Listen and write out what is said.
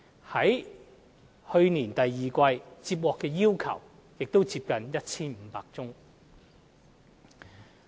在去年第二季，接獲的要求亦接近 1,500 宗。